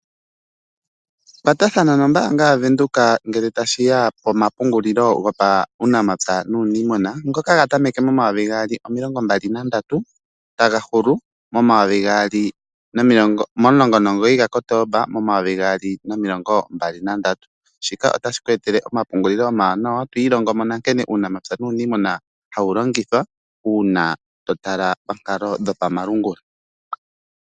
Kwatathana nombaanga yaVenduka ngele tashiya pomapungulilo gopaunamapya nuuniimuna ngoka ga tameka mo 2023 etaga hulu momulongo nomugoyi ga Kotomba 2023. Shika otashi ku etele omapungulilo omawanawa etwiilongomo nankene uunamapya nuuniimuna wawu longithwa uuna to tala pankalo dho pamalungula.